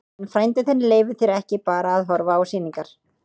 En frændi þinn leyfir þér ekki bara að horfa á sýningar.